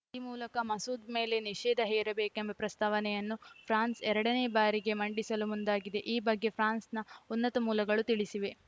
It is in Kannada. ಈ ಮೂಲಕ ಮಸೂದ್‌ ಮೇಲೆ ನಿಷೇಧ ಹೇರಬೇಕೆಂಬ ಪ್ರಸ್ತಾವನೆಯನ್ನು ಫ್ರಾನ್ಸ್‌ ಎರಡ ನೇ ಬಾರಿಗೆ ಮಂಡಿಸಲು ಮುಂದಾಗಿದೆ ಈ ಬಗ್ಗೆ ಫ್ರಾನ್ಸ್‌ನ ಉನ್ನತ ಮೂಲಗಳು ತಿಳಿಸಿವೆ